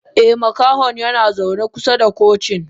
Eh Makahon yanazaune kusa da cocin.